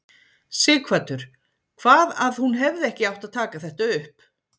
Sighvatur: Hvað að hún hefði ekki átt að taka þetta upp?